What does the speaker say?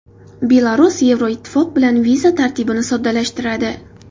Belarus Yevroittifoq bilan viza tartibini soddalashtiradi.